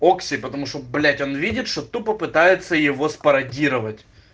окси потому что блять он видит что тупо попытаются его спародировать